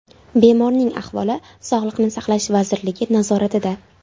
Bemorning ahvoli Sog‘liqni saqlash vazirligi nazoratida.